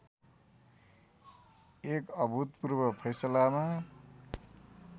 एक अभूतपूर्व फैसलामा